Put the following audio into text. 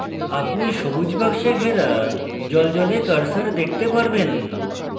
আপনি সবুজ box ঘেরা জ্বলজ্বলে cursor দেখতে পারবেন